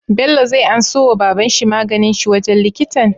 Bello zai anso wa baban shi maganin shi wajan likitan?